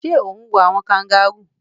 Sé o n wo àwon kangaroo